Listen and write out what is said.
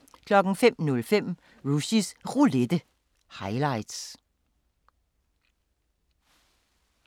05:05: Rushys Roulette – highlights